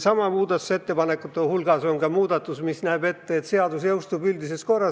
Muudatusettepanekute hulgas on ka ettepanek jõustada seadus üldises korras.